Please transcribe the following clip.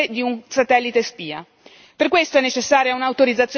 Un computer compromesso è più utile di un satellite spia